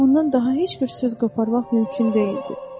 Ondan daha heç bir söz qoparmaq mümkün deyildi.